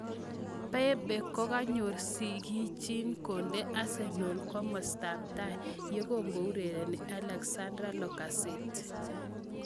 Pepe kokanyor sikchin konde Arsenal komastaab tai yokakoureren Alexandre Lacazette.